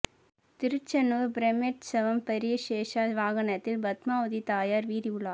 திருச்சானூர் பிரமோற்சவம் பெரிய சேஷ வாகனத்தில் பத்மாவதி தாயார் வீதி உலா